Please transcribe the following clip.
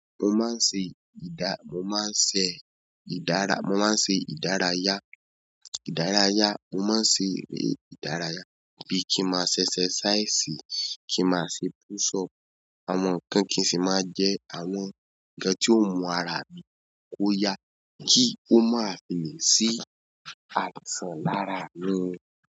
Mo máa ń ṣe ìda- mo máa ń ṣe ìdara- mo máa ń ṣe ìdárayá, ìdárayá. Mo máa ń ṣe ìdárayá bí i kí máa ṣe exercise, kí máa ṣe push up, àwọn nǹkan kí n sì máa jẹ àwọn nǹkan tí ó mú ara mi kó yá kí ó máa fi le sí àìsàn lára mi.